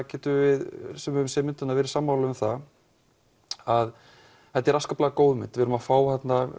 getum við sem höfum séð myndina verið sammála um það að þetta er afskaplega góð mynd við erum að fá